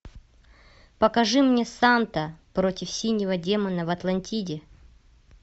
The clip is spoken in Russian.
покажи мне санта против синего демона в атлантиде